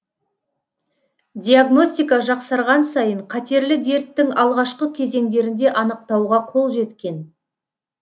диагностика жақсарған сайын қатерлі дерттің алғашқы кезеңдерінде анықтауға қол жеткен